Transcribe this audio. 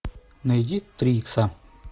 найди три икса